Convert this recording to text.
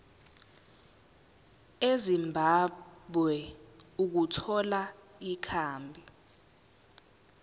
ezimbabwe ukuthola ikhambi